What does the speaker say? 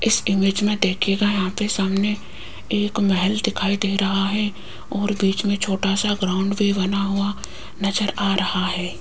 इस इमेज मे देखियेगा यहां पे सामने एक महल दिखाई दे रहा है और बीच मे छोटा सा ग्राउंड भी बना हुआ नज़र आ रहा है।